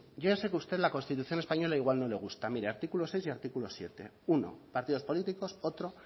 yo ya sé que usted la constitución española igual no me gusta mire artículo seis y artículo siete uno partidos políticos otro